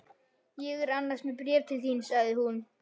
Ég er annars með bréf til þín sagði hún.